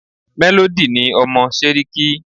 Melody ni ọmọ Séríkí